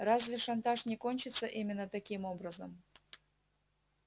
разве шантаж не кончится именно таким образом